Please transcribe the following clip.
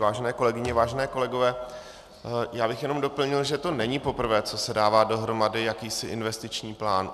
Vážené kolegyně, vážení kolegové, já bych jenom doplnil, že to není poprvé, co se dává dohromady jakýsi investiční plán.